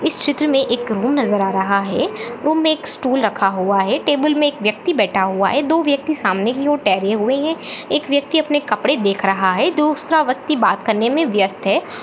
इस चित्र में एक रूम नजर आ रहा है रूम में एक स्टूल रखा हुआ है टेबल में एक व्यक्ति बैठा हुआ है दो व्यक्ति सामने की ओर ठहरे हुए है एक व्यक्ति अपने कपड़े देख रहा है दूसरा व्यक्ति बात करने में व्यस्त है।